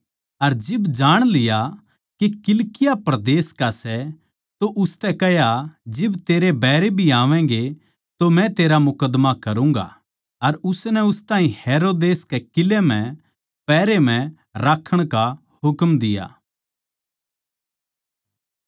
अर जिब जाण लिया के किलिकिया परदेस का सै तो उसतै कह्या जिब तेरै बैरी भी आवैगें तो मै तेरा मुकद्दमा करूँगा अर उसनै उस ताहीं हेरोदेस कै किलै म्ह पहरे म्ह राक्खण का हुकम दिया